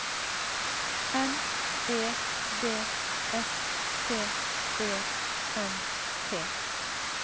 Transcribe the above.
N E D S T E M T